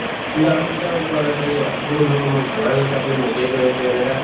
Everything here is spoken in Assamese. কিন্তু আমি কেতিয়াও কোৱা নাছিলো যে আপুনি মোৰ মোৰ ভাগৰি গৈছো আপুনি মোকে কৈ আছে এনেকা